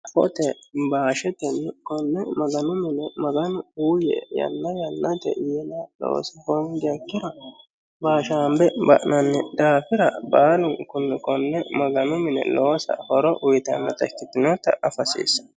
hafoote baashetenni konne maganu mine maganu uuyye yanna yannate yinoha loosa hongiha ikiha ikkiro baashaambe ba'nanni daafira baalunkunni konne maganu mine loosa horo uyitannota ikkitinotta afa hasiissanno.